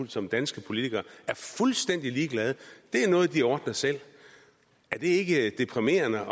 som dansk politiker er fuldstændig ligeglad det er noget de ordner selv er det ikke deprimerende